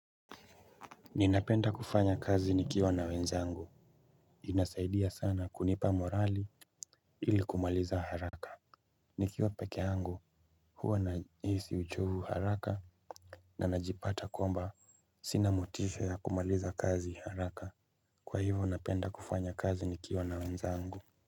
Ninapenda kufanya kazi nikiwa na wenzangu inasaidia sana kunipa morali ili kumaliza haraka. Nikiwa peke yangu huwa nahisi uchovu haraka na najipata kwamba sina motisha ya kumaliza kazi haraka kwa hivo napenda kufanya kazi nikiwa na wenzangu.